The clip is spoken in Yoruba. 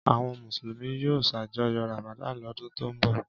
Àwọn Mùsùlùmí yóò ṣàjọyọ̀ Ramadan lọ́dún tó ń bọ̀.